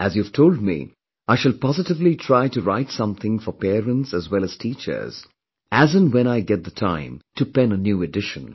As you have told me, I shall positively try to write something for parents as well as teachers, as and when I get the time to pen a new edition